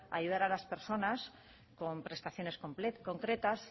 ayudar a las personas con prestaciones concretas